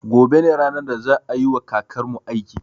Gobe ne ranar da za a yiwa kakarmu aiki